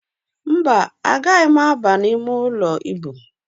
Mba, agaghị m ábà imeụlọ íbù.